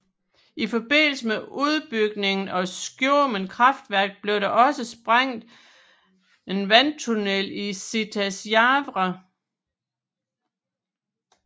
I forbindelse med udbygningen af Skjomen kraftværk blev der også sprængt en vandtunnel til Sitasjavre